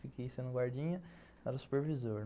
Fiquei sendo o guardinha, era o supervisor.